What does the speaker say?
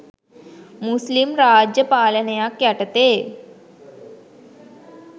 මුස්ලිම් රාජ්‍ය පාලනයක් යටතේ